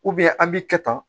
an b'i kɛ tan